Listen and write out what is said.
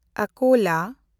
ᱟᱠᱳᱞᱟ